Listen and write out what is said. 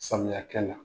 Samiya kɛ la